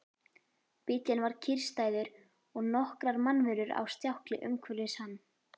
Bíllinn var kyrrstæður og nokkrar mannverur á stjákli umhverfis hann.